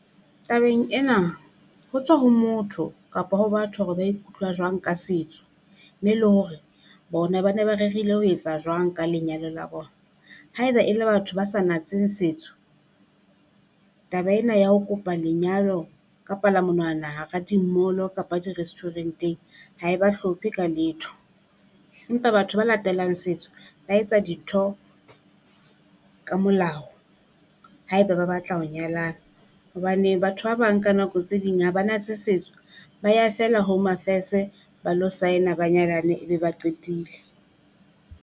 Tabeng ena ho tswa ho motho kapa ho batho hore ba ikutlwa jwang ka setso, mme le hore bona ba ne ba rerile ho etsa jwang ka lenyalo la bona. Haeba e le batho ba sa natseng setso, taba ena ya ho kopa lenyalo ka pala monwana hara di-mall-o kapa di-restaurant-eng. Ha e ba hlophe ka letho, empa batho ba latelang setso ba etsa dintho ka molao haeba ba batla ho nyalana. Hobane batho ba bang ka nako tse ding ha ba natse setso ba ya felea Home Affairs ba lo sign-a ba nyalane ebe ba qetile.